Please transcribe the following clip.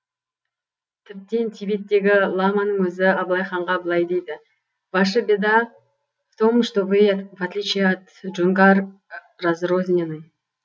тіптен тибеттегі ламаның өзі абылай ханға былай дейді ваше беда в том что вы в отличие от джунгар разрознены